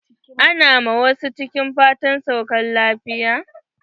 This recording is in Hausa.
Ana wa masu ciki fatan saukar lafiya.